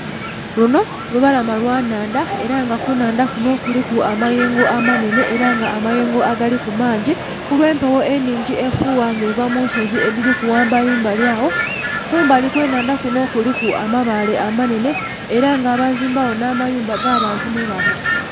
Lunho olubalama lwa nnhandha era nga kunnhandha kunho kuliku amayengo amanhenhe era ng'amayengo agaliku mangi kulwe mpegho enhingi efugha nga eva munsozi edhiliku ghambali mbali agho, kumbali okwenhandha kunho kuliku amabaale amanhenhe era nga bazimba gho nha mayumba aga bantu mwebaba